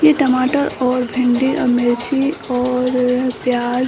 यह टमाटर और भिंडी औ मिर्ची और प्याज --